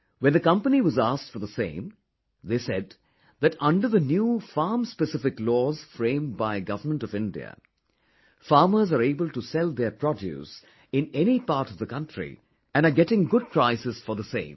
When the company was asked for the same, they said that under the new farm specific laws framed by Government of India, farmers are able to sell their produce in any part of the country and are getting good prices for the same